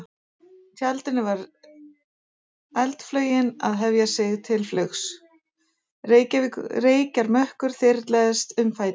tjaldinu var eldflaugin að hefja sig til flugs, reykjarmökkur þyrlaðist um fætur hennar.